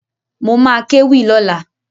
Mo ma kéwì lọ́la